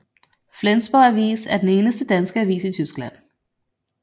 Flensborg Avis er den eneste danske avis i Tyskland